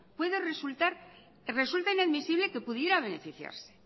puede resultar o resulta inadmisible que pudiera beneficiarse